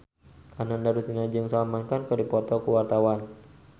Ananda Rusdiana jeung Salman Khan keur dipoto ku wartawan